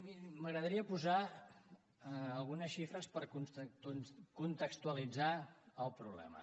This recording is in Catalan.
mirin m’agradaria posar algunes xifres per contextualitzar el problema